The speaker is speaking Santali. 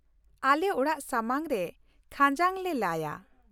ᱟᱞᱮ ᱚᱲᱟᱜ ᱥᱟᱢᱟᱝ ᱨᱮ ᱠᱷᱟᱸᱡᱟᱝ ᱞᱮ ᱞᱟᱭᱟ ᱾